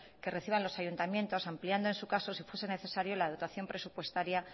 que reciban los ayuntamientos ampliando en su caso si fuese necesario la dotación presupuestario